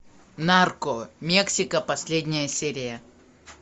нарко мексика последняя серия